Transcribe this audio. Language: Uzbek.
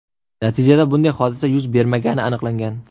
Natijada bunday hodisa yuz bermagani aniqlangan.